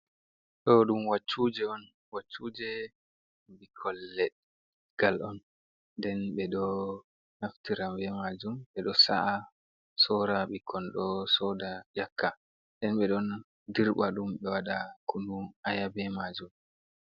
Ɗo ɗum waccuuje on. Waccuuje ɓikkon legal on nden ɓe ɗo naftira be maajum ɓe ɗo sa’a, soora ɓikkon ɗo sooda ƴakka nden ɓe ɗon dirɓa ɗum be waɗa kunun aya be maajum